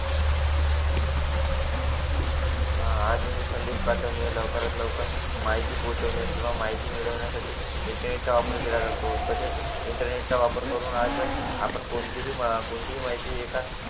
हा आज संदेश पाठवणे माहिती पोहोचवणे किंवा माहिती मिळवणे यासाठी इंटरनेटचा वापर तसेच इंटरनेटचा वापर करून आज आपण कोणतीही माहिती एका